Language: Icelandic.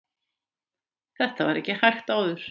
þetta var ekki hægt áður